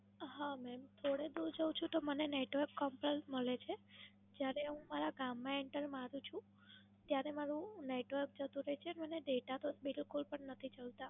હા મેડમ. થોડે દૂર જઉં છું તો મને Network Complaint મળે છે, જયારે હું મારા ગામમાં Enter મારું છું ત્યારે મારું Network જતું રહે છે મને Data તો બિલકુલ નથી ચાલતો.